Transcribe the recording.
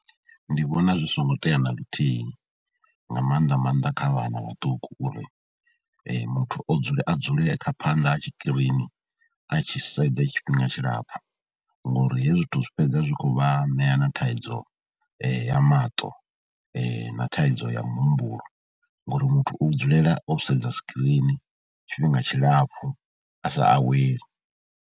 Ndi vhona zwi songo tea na luthihi nga maanḓa maanḓa kha vhana vhaṱuku uri muthu o dzule a dzule kha phanḓa ha tshikirini a tshi sedze tshifhinga tshilapfhu, ngori hezwi zwithu zwi fhedza zwi khou vha ṋea na thaidzo ya maṱo na thaidzo ya muhumbulo ngauri muthu u dzulela o sedza skirini tshifhinga tshilapfhi a sa aweli.